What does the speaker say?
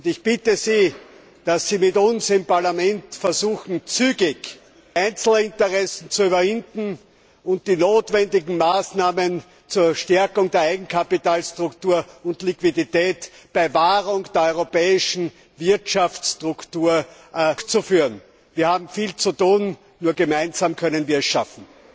Ich bitte Sie, dass Sie mit uns im Parlament versuchen, zügig die Einzelinteressen zu überwinden und die notwendigen Maßnahmen zur Stärkung der Eigenkapitalstruktur und Liquidität bei Wahrung der europäischen Wirtschaftsstruktur durchzuführen. Wir haben viel zu tun, nur gemeinsam können wir es schaffen!